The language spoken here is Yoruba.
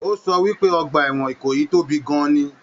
O sọ wípé ọgbà ẹwọn Ìkòyí tóbi gan-an ní.